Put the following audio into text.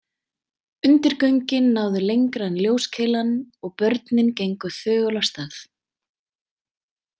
Undirgöngin náðu lengra en ljóskeilan og börnin gengu þögul af stað.